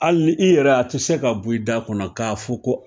Hali i yɛrɛ a tɛ se ka bɔ i da kɔnɔ k'a fɔ ko